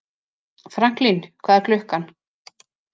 Franklín, hvað er klukkan?